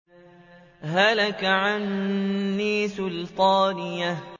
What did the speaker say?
هَلَكَ عَنِّي سُلْطَانِيَهْ